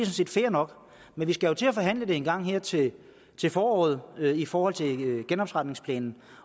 set fair nok men vi skal jo til at forhandle det engang her til til foråret i forhold til genopretningsplanen